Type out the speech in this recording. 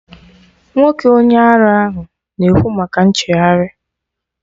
Nwoke onye ara ahụ na-ekwu maka nchegharị